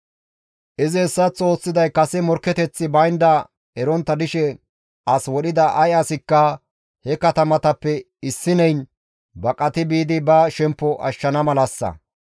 Izi hessaththo ooththiday kase morkketeththi baynda erontta dishe as wodhida ay asikka he katamatappe issineyn baqati biidi ba shemppo ashshana malassa.